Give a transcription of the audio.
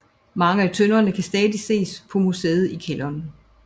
Mange af tønderne kan stadig ses på museet i kælderen